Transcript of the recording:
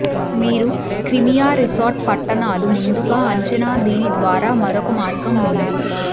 మీరు Crimea resort పట్టణాలు ముందుగా అంచనా దీని ద్వారా మరొక మార్గం ఉంది